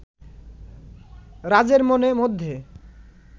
রাজের মনের মধ্যে